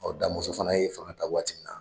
Ɔ Da Mɔnsɔn fana ye fanga ta waati minna